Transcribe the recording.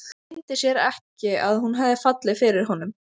Leyndi sér ekki að hún hafði fallið fyrir honum.